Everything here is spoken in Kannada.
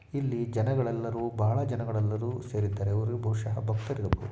ಇಲ್ಲಿ ಜನಗಳೆಲ್ಲರೂ ಬಹಳ ಜನಗಳೆಲ್ಲರೂ ಸೇರಿದ್ದಾರೆ. ಅವರು ಬಹುಷಃ